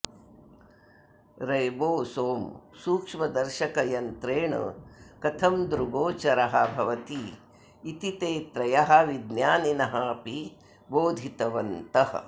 ribosome सूक्ष्मदर्शकयन्त्रेण कथं दृग्गोचरः भवति इति ते त्रयः विज्ञानिनः अपि बोधितवन्तः